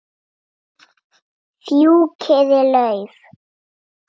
Fjúkiði lauf.